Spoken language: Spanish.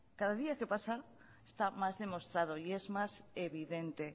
cada día que pasa está más demostrado y es más evidente